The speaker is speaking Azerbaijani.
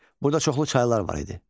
Burada çoxlu çaylar var idi.